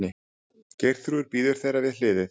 Geirþrúður bíður þeirra við hliðið.